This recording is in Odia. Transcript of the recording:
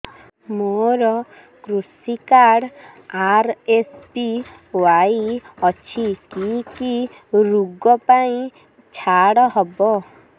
ମୋର କୃଷି କାର୍ଡ ଆର୍.ଏସ୍.ବି.ୱାଇ ଅଛି କି କି ଋଗ ପାଇଁ ଛାଡ଼ ହବ